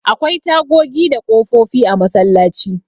Akwai tagogi da ƙofofi a masallaci.